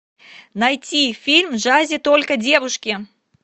найти фильм в джазе только девушки